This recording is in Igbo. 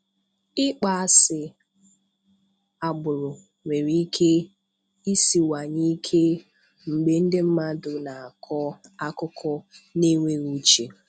Ịkpọ asị agbụrụ nwere ike isinwaye ike mgbe ndị mmadụ n'akọ akụkọ n'enweghị uche.